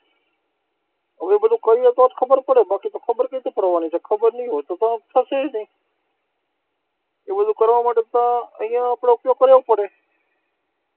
હવે બધું કરીએ તો જ ખબર પડે ને બાકી તો ખબર કઈ રીતે પાડવાની છે? ખબર નઈ હોય તો થશે ય નઈ, એ બધું કરવા માટે તો અહીંયા આપણે ઉપયોગ કરવો પડે.